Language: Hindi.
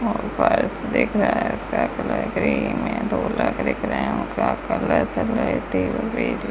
मोबाइल्स देख रहे है उसका कलर ग्रीन है दो लड़के देख रहे हैं उनका कलर सफेद बी --